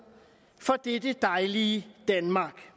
for dette dejlige danmark